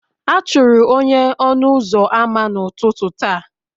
A chụrụ onye ọnụ ụzọ ámá n'ụtụtụ taa